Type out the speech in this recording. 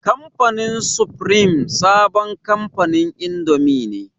Kamfanin sufrim sabon kamfanin indomi ne.